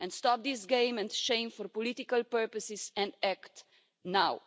Stop these games and shameful political purposes, and act now.